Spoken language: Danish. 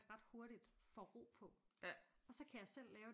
Ret hurtigt får ro på og så kan jeg selv lave